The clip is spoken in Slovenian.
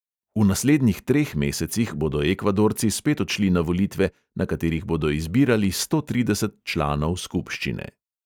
V naslednjih treh mesecih bodo ekvadorci spet odšli na volitve, na katerih bodo izbirali sto trideset članov skupščine.